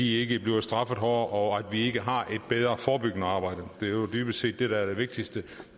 ikke bliver straffet hårdere og vi ikke har et bedre forebyggende arbejde det er jo dybest set det der er det vigtigste